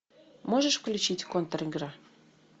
можешь включить контр игра